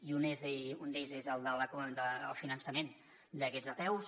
i un d’ells és el finançament d’aquestes apeus